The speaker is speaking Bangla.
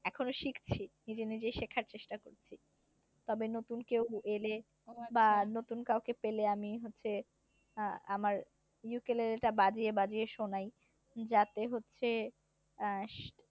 এখনো শিখছি নিজে নিজে শেখার চেষ্টা করছি তবে নতুন কেউ এলে বা নতুন কাউকে পেলে আমি হচ্ছে আহ আমার বাজিয়ে বাজিয়ে শোনাই যাতে হচ্ছে আহ